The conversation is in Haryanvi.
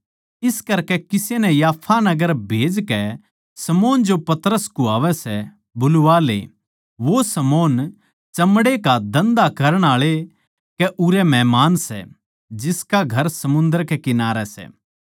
इस करकै किसे नै याफा नगर खन्दाकै शमौन जो पतरस कुह्वावै सै बुलवा ले वो शमौन चमड़े का धन्धा करण आळे कै उरै मेहमान सै जिसका घर समुन्दर कै किनारै सै